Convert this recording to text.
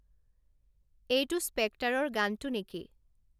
এইটো স্পেক্টাৰৰ গানটো নেকি